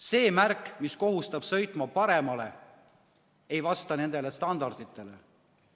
See märk, mis kohustab sõitma paremale, ei vasta nendele standarditele.